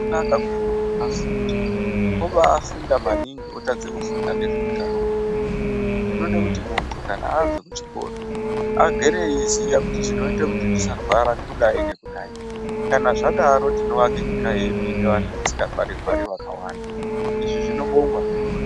Zvakanaka kuti muntu afunde obaafunda maningi otadze kufunda ngezveutano hwemuntu. Tinoda kuti muntu abve kuchikora agere eiziya kuti zvinoite kuti ndisarwara kudai nekudai. Kana zvadaro tinoake nyika yedu ine vantu vasikarwari-rwari vakawanda. Izvi zvinobongwa zvirozvo.